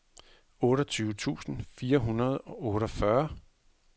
otteogtyve tusind fire hundrede og otteogfyrre